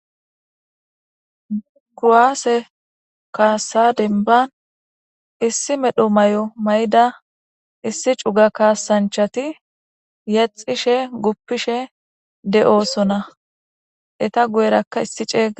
kuwaase kaasa denban issi medho may7o may7da issi cuga kaasanchati yaxishe guppishe de7oosona eta guyerakka issi ceeyga